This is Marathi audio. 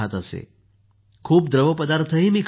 मी खूप द्रवपदार्थ ही खात होते